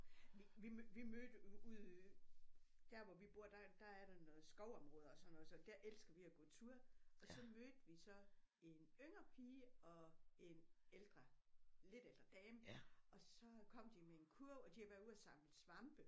Vi vi mødte ude der hvor vi bor der der er der noget skovområde og sådan noget så der elsker vi at gå tur og så mødte vi så en yngre pige og en ældre lidt ældre dame og så kom de med en kurv og de havde været ude og samle svampe